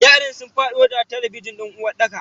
yaran sun fado da talabijin din uwarɗakar.